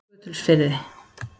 Skutulsfirði